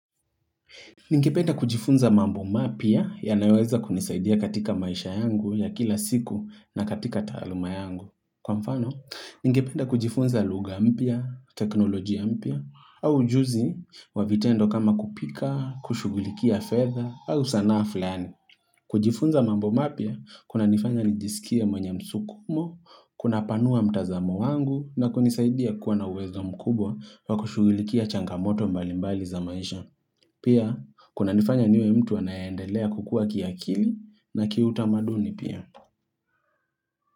Ningependa kujifunza mambo mapya yanayoweza kunisaidia katika maisha yangu ya kila siku na katika taaluma yangu. Kwa mfano, ningependa kujifunza lugha mpya, teknolojia mpya, au ujuzi wa vitendo kama kupika, kushugulikia fedha, au sanaa fulani. Kujifunza mambo mapya, kunanifanya nijisikia mwenye msukumo, kunapanua mtazamo wangu, na kunisaidia kuwa na uwezo mkubwa wa kushugulikia changamoto mbalimbali za maisha. Pia kunanifanya niwe mtu anaendelea kukua kiakili na kiutamaduni pia.